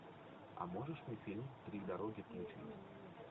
а можешь мне фильм три дороги включить